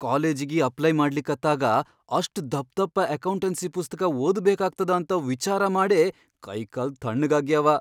ಕಾಲೇಜಿಗಿ apply ಮಾಡ್ಲಿಕತ್ತಾಗ ಅಷ್ಟ್ ಧಪ್ಧಪ್ಪ ಅಕೌಂಟನ್ಸಿ ಪುಸ್ತಕಾ ಓದ್ಬೇಕಾಗ್ತದ ಅಂತ ವಿಚಾರ ಮಾಡೇ ಕೈಕಾಲ್ ಥಣ್ಣಗಾಗ್ಯಾವ.